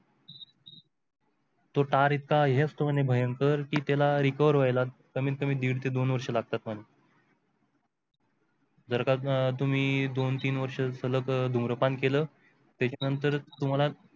तो तार इतका हे असतो म्हणे भयंकर कि त्याला recover होईला कमीत कमी दीड ते दोन वर्ष लागतात म्हणे जर का तुम्ही दोन तीन वर्ष सलग धूम्रपान केलं त्याच्यानंतर तुम्हाला